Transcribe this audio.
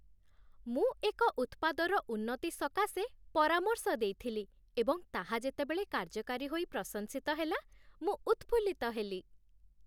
ମୁଁ ଏକ ଉତ୍ପାଦର ଉନ୍ନତି ସକାଶେ ପରାମର୍ଶ ଦେଇଥିଲି ଏବଂ ତାହା ଯେତେବେଳେ କାର୍ଯ୍ୟକାରୀ ହୋଇ ପ୍ରଶଂସିତ ହେଲା, ମୁଁ ଉତ୍‌ଫୁଲ୍ଲିତ ହେଲି।